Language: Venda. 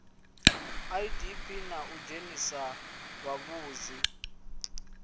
idp na u dzhenisa vhavhusi